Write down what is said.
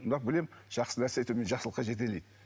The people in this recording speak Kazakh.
бірақ білемін жақсы нәрсе әйтеуір мені жақсылыққа жетелейді